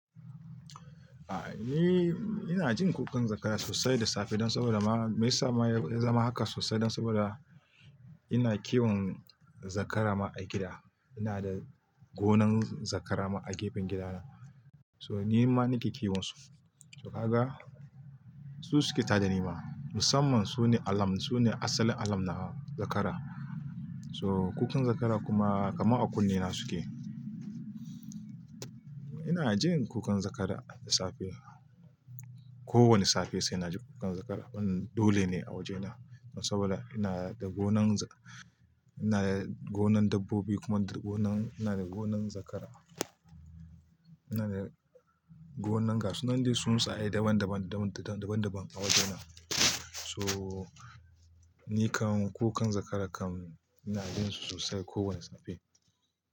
A'a, ni ina jin kukan zakara sosai da safe don saboda ma, me yasa ma ya zama haka sosai don saboda ina kiwon zakara ma a gida. Ina da gonan zakara ma a gefen gidana. So ni ma nake kiwon su. To kaga su suke ta da ni ma. Musamman su ne alam, su ne asalin alamna zakara. So kukan zakara kuma kama a kunne na suke. Ina jin kukan zakara da safe. Ko wane safe sai na ji kukan zakara. Wannan dole ne a wajena saboda ina da gonan za-- ina da gonan dabbobi kuma ina da gonan zakara. Ina da gonan gasu. Nan dai tsuntsaye daban-daban, daban da daban a wajena. So, ni kam kukan zakara kam ina jin su sosai kowane safe.